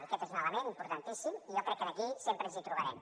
i aquest és un element importantíssim i jo crec que aquí sempre ens hi trobarem